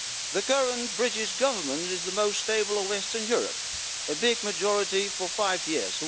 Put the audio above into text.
The current British government is the most stable in Western Europe a big majority for five years.